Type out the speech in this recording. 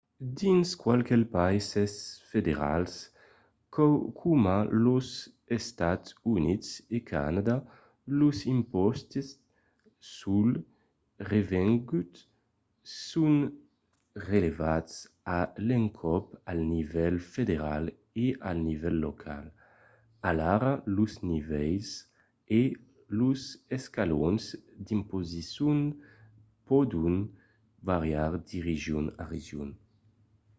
dins qualques païses federals coma los estats units e canadà los impòstes sul revengut son prelevats a l’encòp al nivèl federal e al nivèl local alara los nivèls e los escalons d'imposicion pòdon variar de region a region